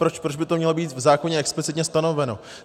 Proč by to mělo být v zákoně explicitně stanoveno?